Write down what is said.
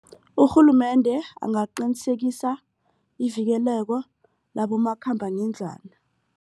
Urhulumende angaqinisekisa ivikeleko labomakhambangendlwana.